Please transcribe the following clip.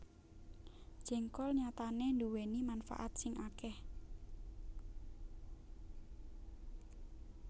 Jéngkol nyatané nduwèni manfaat sing akèh